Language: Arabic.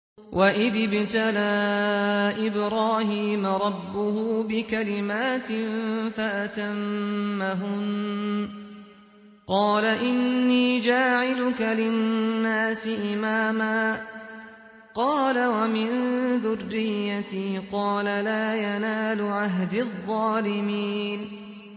۞ وَإِذِ ابْتَلَىٰ إِبْرَاهِيمَ رَبُّهُ بِكَلِمَاتٍ فَأَتَمَّهُنَّ ۖ قَالَ إِنِّي جَاعِلُكَ لِلنَّاسِ إِمَامًا ۖ قَالَ وَمِن ذُرِّيَّتِي ۖ قَالَ لَا يَنَالُ عَهْدِي الظَّالِمِينَ